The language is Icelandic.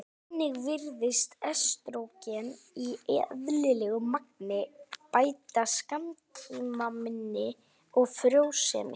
Einnig virðist estrógen í eðlilegu magni bæta skammtímaminni og frjósemi.